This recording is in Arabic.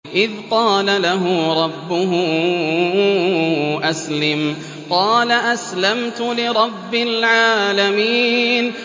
إِذْ قَالَ لَهُ رَبُّهُ أَسْلِمْ ۖ قَالَ أَسْلَمْتُ لِرَبِّ الْعَالَمِينَ